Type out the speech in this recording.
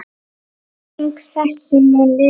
Minning þessi mun lifa.